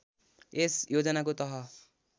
यस योजनाको तह